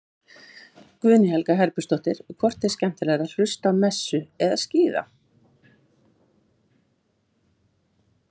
Guðný Helga Herbertsdóttir: Hvort er skemmtilegra að hlusta á messu eða skíða?